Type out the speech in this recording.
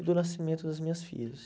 E do nascimento das minhas filhas.